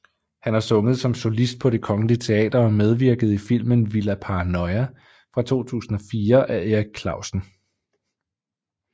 Hun har sunget som solist på Det Kongelige Teater og medvirket i filmen Villa Paranoia fra 2004 af Erik Clausen